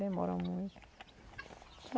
Demora muito.